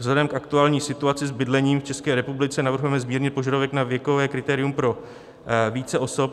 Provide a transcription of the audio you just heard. Vzhledem k aktuální situaci s bydlením v České republice navrhujeme zmírnit požadavek na věkové kritérium pro více osob.